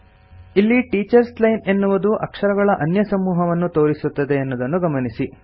ಇಲ್ಲಿ teachers line ಎನ್ನುವುದು ಅಕ್ಷರಗಳ ಅನ್ಯಸಮೂಹವನ್ನು ತೋರಿಸುತ್ತದೆ ಎನ್ನುವುದನ್ನು ಗಮನಿಸಿ